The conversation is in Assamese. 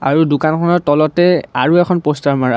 আৰু দোকানখনৰ তলতে আৰু এখন প'ষ্টাৰ মাৰা--